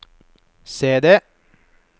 CD